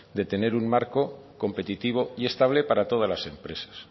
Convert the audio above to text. de tener un marco competitivo y estable para todas las empresas